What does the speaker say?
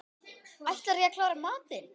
Ætlarðu ekki að klára matinn?